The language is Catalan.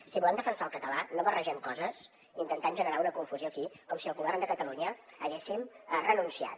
si volem defensar el català no barregem coses intentant generar una confusió aquí com si el govern de catalunya hi haguéssim renunciat